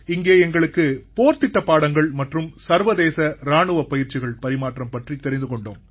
இங்கே எங்களுக்கு போர்திட்டப் பாடங்கள் மற்றும் சர்வதேச இராணுவப் பயிற்சிகள் பரிமாற்றம் பற்றித் தெரிந்து கொண்டோம்